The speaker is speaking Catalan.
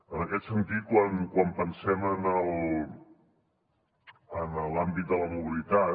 en aquest sentit quan pensem en l’àmbit de la mobilitat